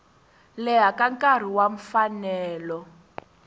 leha ka nkarhi wa mfanelo